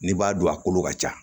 N'i b'a don a kolo ka ca